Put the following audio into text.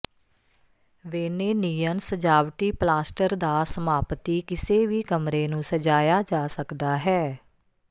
ਵੇਨੇਨੀਅਨ ਸਜਾਵਟੀ ਪਲਾਸਟਰ ਦਾ ਸਮਾਪਤੀ ਕਿਸੇ ਵੀ ਕਮਰੇ ਨੂੰ ਸਜਾਇਆ ਜਾ ਸਕਦਾ ਹੈ